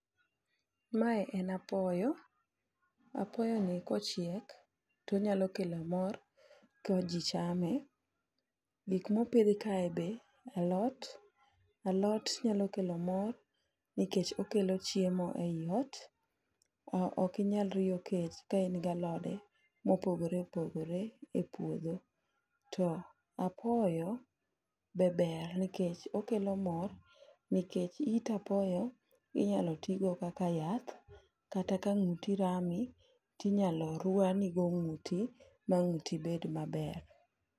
Mae en apoyo, apoyo ni kochiek tonyalo kelo mor ka ji chame. Gik mopidh kae be alot, alot nyalo kelo mor nikech okelo chiemo ei ot. Okinyal riyo kech kain galode mopogore opogore ei puodho. To apoyo be ber nikech okelo mor nikech it apoyo inyalo tigo kaka yath, kata ka ng'uti rami tinyalo rwanigo ng'uti ma ng'uti bed maber.